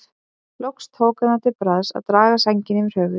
Loks tók hann það til bragðs að draga sængina yfir höfuðið.